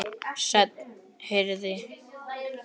Senn heyrði